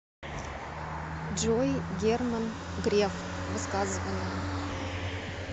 джой герман греф высказывания